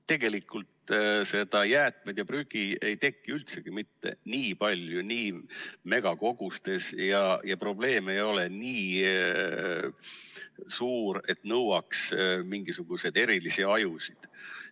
Tegelikult jäätmeid ja prügi ei teki üldsegi mitte nii palju, nii megakogustes, ja probleem ei ole nii suur, et see nõuaks mingisuguseid erilisi ajusid.